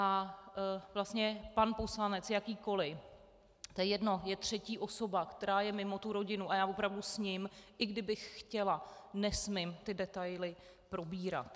A vlastně pan poslanec, jakýkoli, to je jedno, je třetí osoba, která je mimo tu rodinu, a já opravdu s ním, i kdybych chtěla, nesmím ty detaily probírat.